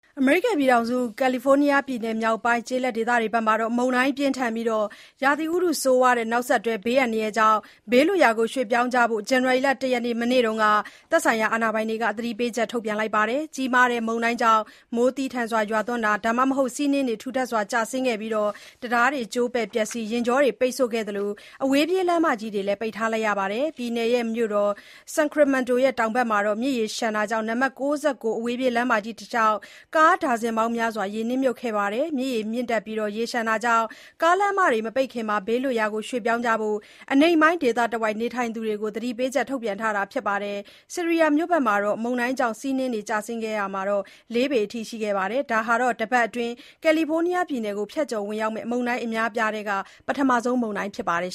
အမေရိကန်ပြည်ထောင်စု ကာလီဖိုးနီးယားပြည်နယ်မြောက်ပိုင်း ကျေးလက်ဒေသဘက်မှာ မုန်တိုင်းပြင်းထန်ပြီး ရာသီဥတုဆိုးရွားမှု နောက်ဆက်တွဲဘေးအန္တရာယ်တွေကြောင့် ဘေးလွတ်ရာရွှေ့ပြောင်းကြဖို့ ဇန်နရီလ (၁)ရက် မနေ့က သက်ဆိုင်ရာကနေ သတိပေးချက် ထုတ်ပြန်ထားပါတယ်။ ကြီးမားတဲ့မုန်တိုင်းကြောင့် မိုးသည်းထန်စွာ ရွာသွန်းတာ၊ ဒါမှမဟုတ် ဆီးနှင်းတွေ ထူထပ်စွာကျဆင်းခဲ့ပြီး တံတားတွေကျိုးပဲ့ပျက်စီး၊ ယာဉ်ကြောတွေပိတ်ဆို့ခဲ့သလို အဝေးပြေးလမ်းမကြီးတွေလည်း ပိတ်ထားရတယ်လို့ ဆိုပါတယ်။ ပြည်နယ်မြို့တော် Sacramento ရဲ့ တောင်ဘက်မှာ မြစ်ရေလျှံပြီး နံပါတ် ၉၉ အဝေးပြေးလမ်းမကြီးတလျှောက် ကားဒါဇင်ပေါင်းများစွာ ရေနစ်မြုပ်ခဲ့ပါတယ်။ မြစ်ရေမြင့်တက်ပြီး ရေလျှံမှုကြောင့် ကားလမ်းမတွေမပိတ်ခင် ဘေးလွတ်ရာရွှေ့ပြောင်းကြဖို့ အနိမ့်ပိုင်းဒေသတဝိုက်နေထိုင်သူတွေကို သတိပေးချက် ထုတ်ပြန်ထားပါတယ်။ Sierra မြို့ဘက်မှာတော့ မုန်တိုင်းကြောင့် ဆီးနှင်းတွေကျဆင်းခဲ့ရာမှာ လေးပေအထိရှိခဲ့ပါတယ်။ ဒါဟာ တပတ်အတွင်း ကာလီဖိုးနီးယားပြည်နယ်ကို ဖြတ်ကျော်ဝင်ရောက်မယ့် မုန်တိုင်းအများအပြားထဲက ပထမဆုံးလည်း ဖြစ်ပါတယ်